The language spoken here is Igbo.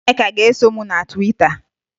Nneka ga-eso m na Twita